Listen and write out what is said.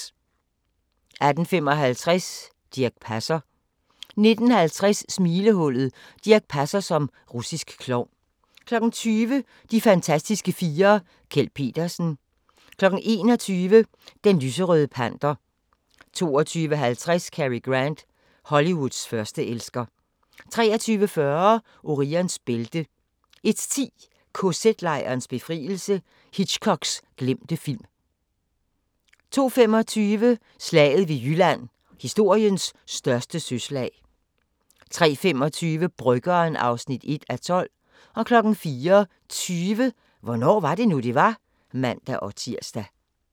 18:55: Dirch Passer 19:50: Smilehullet: Dirch Passer som russisk klovn 20:00: De fantastiske fire: Kjeld Petersen 21:00: Den Lyserøde Panter 22:50: Cary Grant – Hollywoods førsteelsker 23:40: Orions bælte 01:10: KZ-lejrenes befrielse – Hitchcocks glemte film 02:25: Slaget ved Jylland – historiens største søslag 03:25: Bryggeren (1:12) 04:20: Hvornår var det nu, det var? (man-tir)